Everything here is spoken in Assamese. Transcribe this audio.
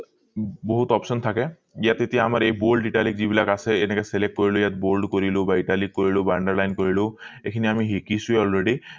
বহুত option থাকে ইয়াত এতিয়া আমাৰ এই bold italic যি বিলাক আছে এনেকে select কৰিলো ইয়াত bold কৰিলো বা italic কৰিলো বা underline কৰিলো এইখিনি সিকিছো already